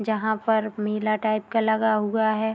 जहाँ पर मेला टाइप का लगा हुआ है।